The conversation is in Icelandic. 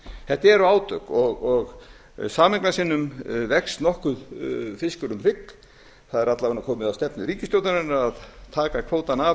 þetta eru átök sameignarsinnum vex nokkuð fiskur um hrygg það er alla vega komið að stefnu ríkisstjórnarinnar að taka kvótann af